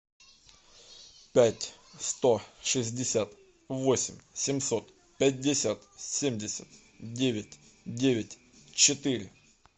пять сто шестьдесят восемь семьсот пятьдесят семьдесят девять девять четыре